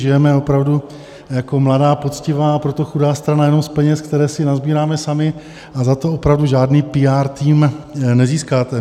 Žijeme opravdu jako mladá, poctivá, a proto chudá strana jenom z peněz, které si nasbíráme sami, a za to opravdu žádný píár tým nezískáte.